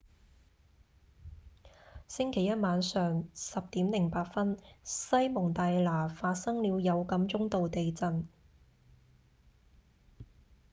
星期一晚上 10:08 西蒙大拿發生了有感中度地震